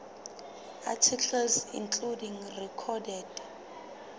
articles including recorded